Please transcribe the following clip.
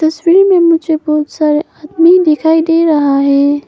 इस फील्ड में मुझे बहुत सारे आदमी दिखाई दे रहा है।